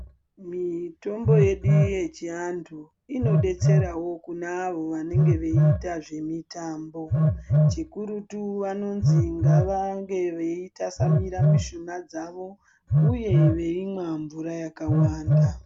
Mitombo yedu yechianthu inodetserao kune avo vanenge veiita zvemitambo chikurutu vanonzi ngavange veitatsamura mishuma yavo uye veimwa mvura yakawanda.